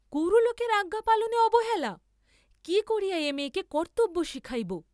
গুরুলোকের আজ্ঞা পালনে অবহেলা!